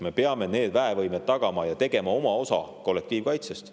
Me peame need väevõimed tagama ja tegema ära oma osa kollektiivkaitsest.